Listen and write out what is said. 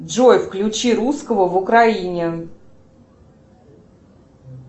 джой включи русского в украине